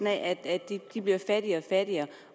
at de mennesker bliver fattigere og fattigere